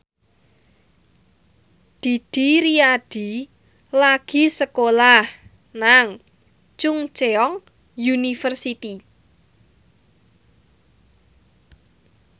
Didi Riyadi lagi sekolah nang Chungceong University